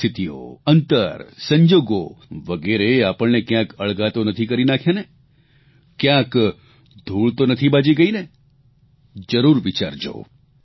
પરિસ્થિતિઓ અંતર સંજોગો વગેરેએ આપણને ક્યાંક અળગા તો નથી કરી નાંખ્યાને કયાંક ધૂળ તો નથી બાજી ગઇને જરૂર વિચારજો